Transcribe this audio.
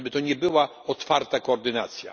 Żeby to nie była otwarta koordynacja.